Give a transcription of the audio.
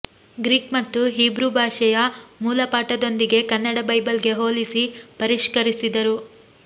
Greek ಮತ್ತು Hebrew ಭಾಷೆಯ ಮೂಲಪಾಠದೊಂದಿಗೆ ಕನ್ನಡ ಬೈಬಲ್ಗೆ ಹೋಲಿಸಿ ಪರಿಷ್ಕರಿಸಿದರು